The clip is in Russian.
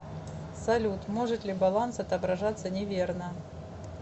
салют может ли баланс отображаться неверно